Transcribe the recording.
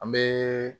An bɛ